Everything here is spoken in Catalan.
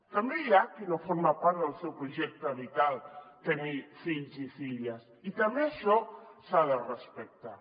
també hi ha qui no té com a part del seu projecte vital tenir fills i filles i també això s’ha de respectar